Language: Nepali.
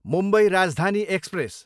मुम्बई राजधानी एक्सप्रेस